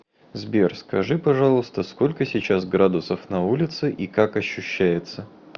сбер скажи пожалуйста сколько сейчас градусов на улице и как ощущается